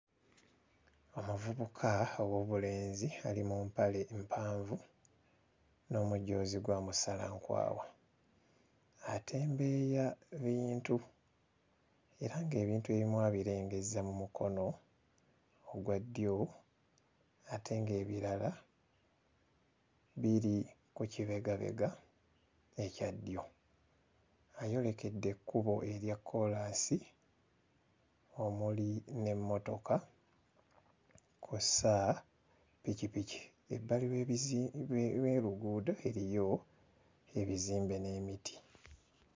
Omuvubuka ow'obulenzi ali mu mpale mpanvu n'omujoozi gwa musalankwawa. Atembeeya bintu era ng'ebintu ebimu abirengezza mu mukono ogwa ddyo ate ng'ebirala biri ku kibegabega ekya ddyo. Ayolekedde ekkubo erya kkoolansi omuli n'emmotoka kw'ossa ppikipiki. Ebbali w'ebizi... w'oluguudo eriyo ebizimbe n'emiti.